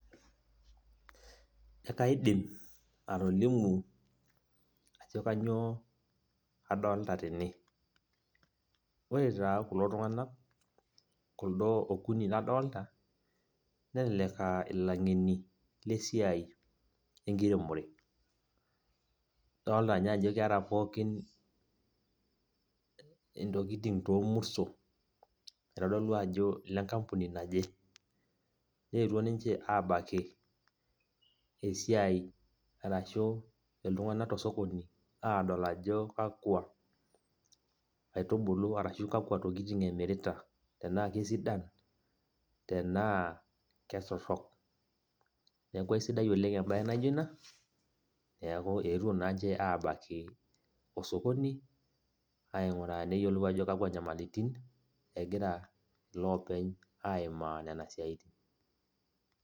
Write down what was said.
ee kaidim atolimu ajo kainyioo adoolta tene, ore taa kulo tunganak, kulo okuni ladoolta. nelelek aa ilangeni lesiai enkire, ore. odoolta ninye ajo keeta pookin intokitin toormurto. itodolu ajo ile nkampuni naje. nnetuo ninche aabaki esiai, arashu, iltunganak tosokoni, aadol ajo kakua aitubulu ashu kakua tokitin emirita tenaa kesidan. tenaa ketorok. neeku kesidai oleng ebae naijo ina. etuo naa ninche abaiki ilo sokoni neyiolou ajo kakua nyamaliritin egira loopeny aimaa.